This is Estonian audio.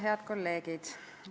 Head kolleegid!